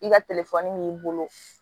I ka b'i bolo